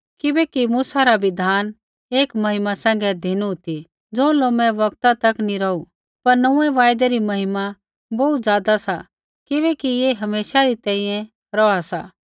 किबैकि मूसा रा बिधान एक महिमा सैंघै धिनु ती ज़ो लोमे बौगता तक नी रौहु पर नोंऊँऐं वायदै री महिमा बोहू ज़ादा सा किबैकि ऐ हमेशा री तैंईंयैं रौहा सा